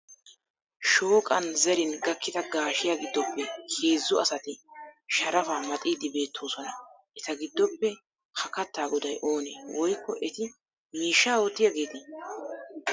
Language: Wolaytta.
Shooqan zerin gakkida gaashiya giddoppe heezzu asati sharafaa maxxiidi beettoosona eta giddoppe ha kattaa goday oone ? Woykko eti miishsha oottiyaagete?